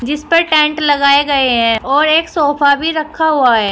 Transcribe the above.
इस पर टेंट लगाए गए हैं और एक सोफा भी रखा हुआ है।